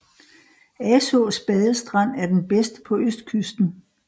Asaas badestrand er den bedste på østkysten